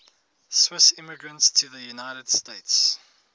swiss immigrants to the united states